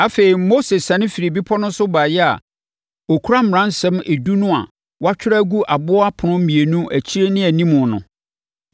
Afei, Mose siane firii bepɔ no so baeɛ a ɔkura Mmaransɛm Edu no a wɔatwerɛ agu aboɔ apono mmienu akyi ne animu no.